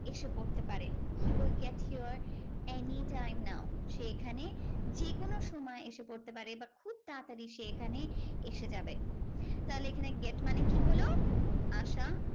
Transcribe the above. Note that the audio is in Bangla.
এসে পড়তে পারে। he will get here any time now. সে এখানে যেকোনো সময় এসে পড়তে পারে বা খুব তাড়াতাড়ি সে এখানে এসে যাবে। তাহলে এখানে get মানে কি হলো? আসা।